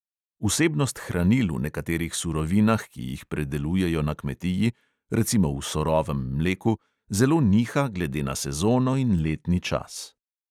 Vsebnost hranil v nekaterih surovinah, ki jih predelujejo na kmetiji, recimo v surovem mleku, zelo niha glede na sezono in letni čas.